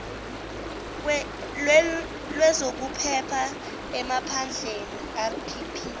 lwezokuphepha emaphandleni rpp